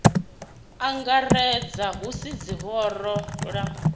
angaredza hu si ḽihoro ḽa